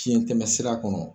Fiɲɛtɛmɛsira kɔnɔ